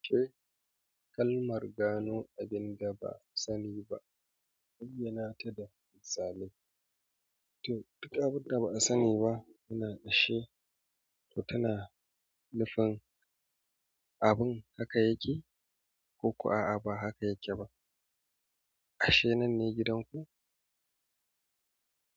Kai kalmar gano abinda ba'a sani ba, bayyana ta da misali. To, duka abin da ba'a sani ba muna dashi, to tana nufin abun haka yake ko kuwa a'a ba haka yake ba. Ashe nan ne gidanku?